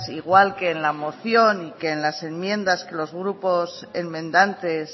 igual que en la moción que en las enmiendas que los grupos enmendantes